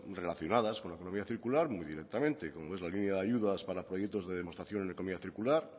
relacionadas con la economía circular muy directamente como es la línea de ayudas para proyectos de demostración en economía circular